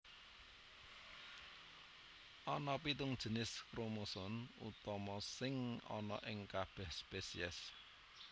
Ana pitung jinis kromosom utama sing ana ing kabèh spesies